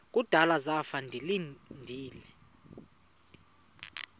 kudala zafa ndilinde